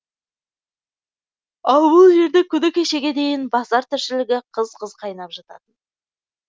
ал бұл жерде күні кешеге дейін базар тіршілігі қыз қыз қайнап жататын